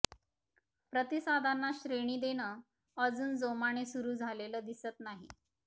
प्रतिसादांना श्रेणी देणं अजून जोमाने सुरू झालेलं दिसत नाही